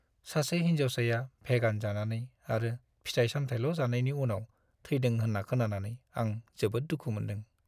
सासे हिन्जावसाया भेगान जानानै आरो फिथाइ-सामथाइल' जानायनि उनाव थैदों होन्ना खोनानानै आं जोबोद दुखु मोनदों।